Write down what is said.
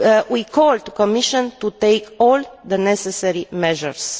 We call on the Commission to take all the necessary measures.